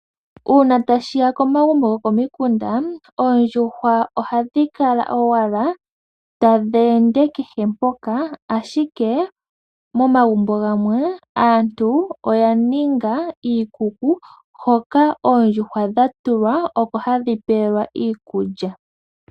Uuna ta shiya komagumbo gokomikunda, oondjuhwa ohadhi kala owala tadhi ende kehe mpoka, ashike momagumbo gamwe aantu oya ninga iikuku hoka oondjuhwa dha tulwa oko hadhi pewelwa iikulya.